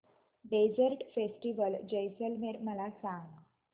desert festival Jaisalmer मला सांग